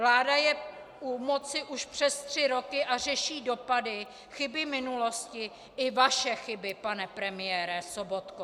Vláda je u moci už přes tři roky a řeší dopady, chyby minulosti, i vaše chyby, pane premiére Sobotko.